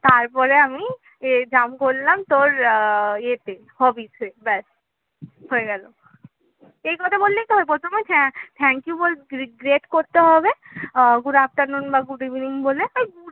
তারপরে আমি এ জাম করলাম তোর আহ ইয়েতে hobbies ব্যাস হয়ে গেল. এই কথা বললেই তো হবে প্রথমে হ্যাঁ thank you যদি greet করতে হবে আহ good afternoon বা good evening